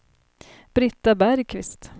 Britta Bergqvist